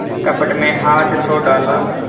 कपट में हाथ तो डाला